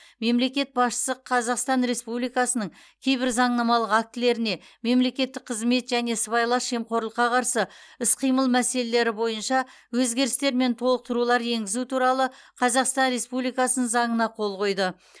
мемлекет басшысы қазақстан республикасының кейбір заңнамалық актілеріне мемлекеттік қызмет және сыбайлас жемқорлыққа қарсы іс қимыл мәселелері бойынша өзгерістер мен толықтырулар енгізу туралы қазақстан республикасының заңына қол қойды